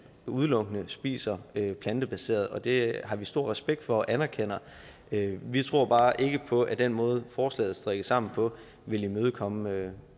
udelukkende spiser plantebaseret det har vi stor respekt for og anerkender men vi tror bare ikke på at den måde forslaget er strikket sammen på vil imødekomme